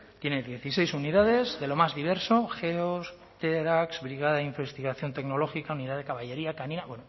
tiene dieciséis unidades de lo más diverso geo tedax brigada de investigación tecnológica unidad de caballería canina